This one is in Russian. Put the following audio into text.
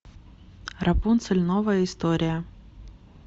рапунцель новая история